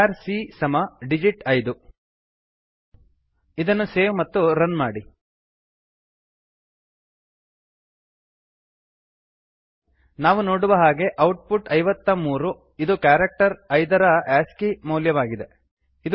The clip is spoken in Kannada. ಚಾರ್ cಕ್ಯಾರ್ ಸಿ ಸಮ ಡಿಜಿಟ್ 5 ಡಿಜಿಟ್ ಐದು ಇದನ್ನು ಸೇವ್ ಮತ್ತು ರನ್ ಮಾಡಿ ನಾವು ನೋಡುವ ಹಾಗೆ ಔಟ್ ಪುಟ್ ೫೩ ಐವತ್ತಮೂರು ಇದು ಕ್ಯಾರಕ್ಟರ್ ಐದರ ಆಸ್ಕಿ ಆಸ್ಕಿ ಮೌಲ್ಯವಾಗಿದೆ